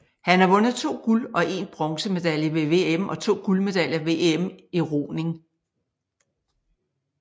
Han har vundet to guld og en bronzemedaljer ved VM og to guldmedaljer ved EM i roning